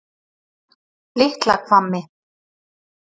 Litlahvammi